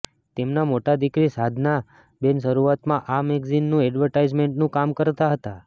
તેમના મોટા દિકરી સાધના બેન શરૂઆતમાં આ મેગેઝિનનું એડવર્ટાઈઝમેન્ટનું કામ કરતાં હતાં